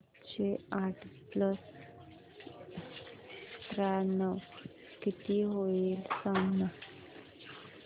सातशे आठ प्लस त्र्याण्णव किती होईल सांगना